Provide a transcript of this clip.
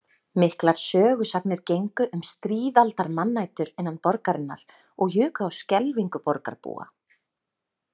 Miklar sögusagnir gengu um stríðaldar mannætur innan borgarinnar og juku á skelfingu borgarbúa.